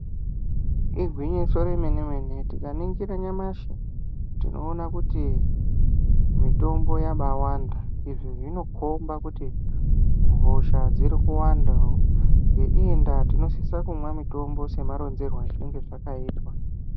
Igwinyiso remene mene tikaningira nyamashi tinoona kuti mitombo yabaawanda izvi zvinokhomba kuti hosha dziri kuwanda ngeiyi ndaa tinosisa kumwa mitombo semaronzerwo azvinenge zvakaitwa.